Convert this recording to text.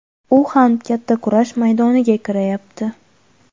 U ham katta kurash maydoniga kirayapti.